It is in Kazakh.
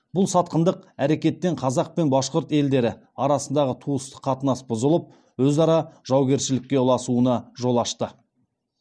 бұл сатқындық әрекеттен қазақ пен башқұрт елдері арасындағы туыстық қатынас бұзылып өзара жаугершілікке ұласуына жол ашты